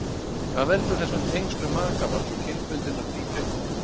Hvað veldur þessum tengslum makavals og kynbundinnar tvíbreytni?